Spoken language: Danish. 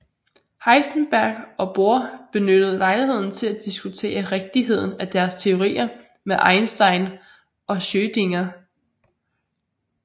Heisenberg og Bohr benyttede lejligheden til at diskutere rigtigheden af deres teorier med Einstein og Schrödinger